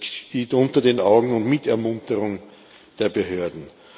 Das geschieht unter den Augen und mit Ermunterung der Behörden.